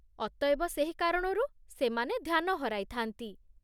ଅତଏବ ସେହି କାରଣରୁ ସେମାନେ ଧ୍ୟାନ ହରାଇ ଥା'ନ୍ତି।